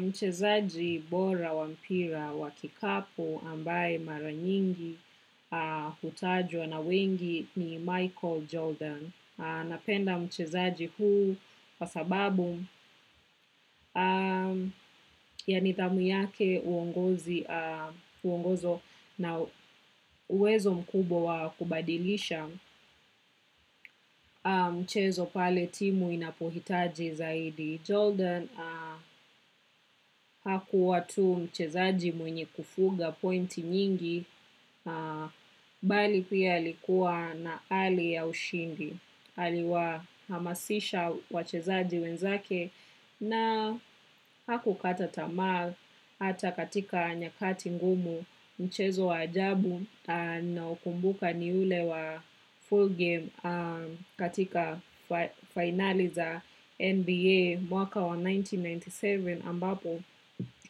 Mchezaji bora wa mpira wa kikapu amabaye mara nyingi hutajwa na wengi ni michael jordan. Napenda mchezaji huu kwa sababu yanidhamu yake uongozo na uwezo mkubwa wa kubadilisha mchezopale timu inapohitaji zaidi. Jordan hakuwa tu mchezaji mwenye kufuga pointi nyingi, bali pia alikua na ari ya ushindi, aliwa hamasisha wachezaji wenzake na haku kata tamaa hata katika nyakati ngumu mchezo wa ajabu ninao kumbuka ni ule wa full game katika fainali za NBA mwaka wa elfu moja na mia tisa na tisini na saba ambapo